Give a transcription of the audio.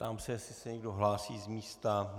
Ptám se, jestli se někdo hlásí z místa.